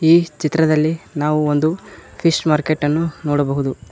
ಈ ಚಿತ್ರದಲ್ಲಿ ನಾವು ಒಂದು ಫಿಶ್ ಮಾರ್ಕೆಟ್ ಅನ್ನು ನೋಡಬಹುದು.